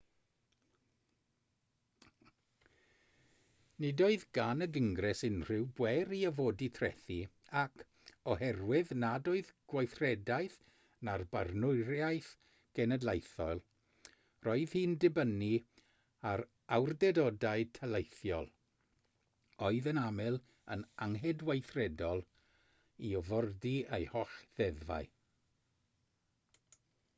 nid oedd gan y gyngres unrhyw bŵer i orfodi trethi ac oherwydd nad oedd gweithredaeth na barnwriaeth genedlaethol roedd hi'n dibynnu ar awdurdodau taleithiol oedd yn aml yn anghydweithredol i orfodi ei holl ddeddfau